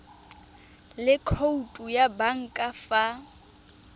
le khoutu ya banka fa